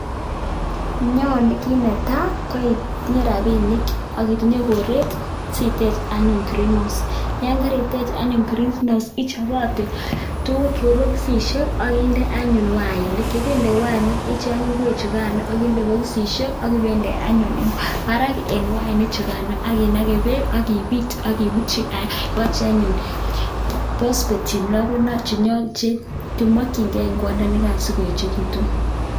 nyalu anyun itinye chepkondok ak mbaret sitech greenhouse yekaitech ichap anyun boxishek akinde wainik akicheng ngwek akinde bosit akipinde wainik akinake peek akipit akinde pospet chenyalunot.